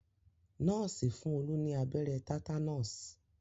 Nọ́ọ̀sì fún Olú ní abẹ́rẹ́ tátánọ̀sì